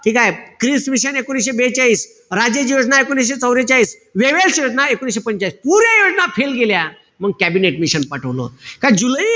ठीकेय? Cripps mission एकोणीशे बेचाळीस. राजेश योजना एकोणीशे चवरेचाळीस. वेव्हेल्स योजना एकोणीशे पंचेचाळीस. पुऱ्या योजना fail गेल्या. मंग कॅबिनेट मिशन पाठवल. का जुलै,